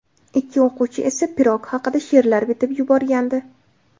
Ikki o‘quvchi esa pirog haqida she’rlar bitib yuborgandi.